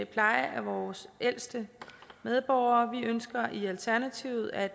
pleje af vores ældste medborgere vi ønsker i alternativet at